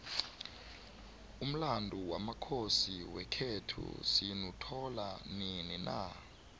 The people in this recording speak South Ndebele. umlandu wamakhosi wekhethu sinuthola nini na